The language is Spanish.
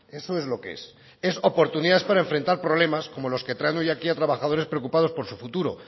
eso es lo que es es oportunidades para enfrentar problemas como los que traen hoy aquí a trabajadores preocupados por su futuro